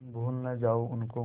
तुम भूल न जाओ उनको